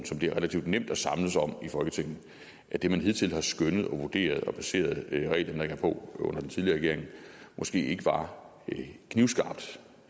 som det er relativt nemt at samles om i folketinget at det man hidtil har skønnet og vurderet og baseret regelændringer på under den tidligere regering måske ikke var knivskarpt